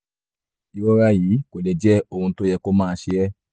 ìrora yìí kò lè jẹ́ ohun tó yẹ kó máa ṣe é